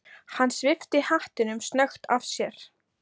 Hann svipti hattinum snöggt af sér.